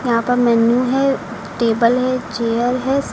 यहां पर मेन्यू है टेबल है चेयर है सा--